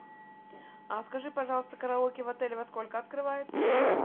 а скажи пожалуйста караоке в отеле во сколько открывается